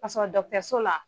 K'a sɔrɔ dɔkitɛriso la